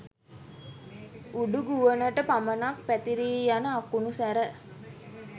උඩුගුවනට පමණක් පැතිරී යන අකුණු සැර